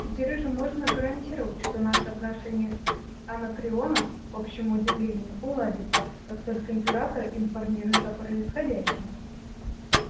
теперь уже можно гарантировать что наши отношения с анакреоном к общему удивлению уладятся как только император информирует о происходящем